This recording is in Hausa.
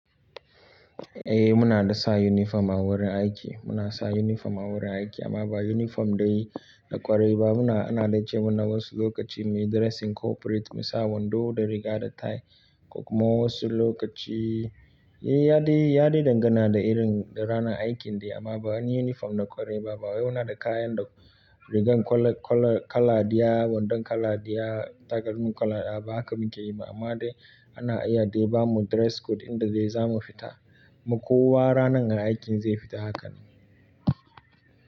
Eh muna dasa uniform a wurin aiki. Muna sa uniform a wurin aiki amma ba uniform dai na ƙwarai ba. Muna, ana dai ce mana wasu lokaci muyi dressing corporate, musa wando da riga da tie. Ko kuma wasu lokaci, ya dai dangana da irin ranan aikin dai amma ba wani uniform da ƙwarai ba. Ba wai muna da kayan da rigar kala ɗiya, wandon kala daya, takalmin kala ɗaya, ba haka mukeyi ba amma dai ana iya dai ba mu dress code inda dai mu fita. Ma kowa rananga aikin zai fita hakanan.